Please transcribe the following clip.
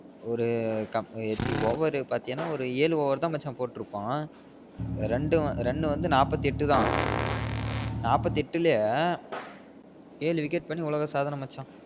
ஒரு over பாத்தினா ஒரு ஏழு over தா மச்சா போட்ருப்பான் run வந்து நாப்பத்தியெட்டு தா நாப்பத்தியெட்டுலையே ஏழு wicket பண்ணி உலக சாதன மச்சா